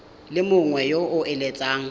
le mongwe yo o eletsang